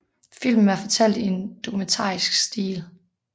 Filmen er fortalt i en dokumentarisk stil